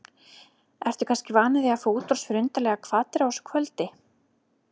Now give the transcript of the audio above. Ertu kannski vanur því að fá útrás fyrir undarlegar hvatir á þessu kvöldi?